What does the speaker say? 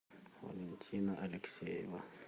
валентина алексеева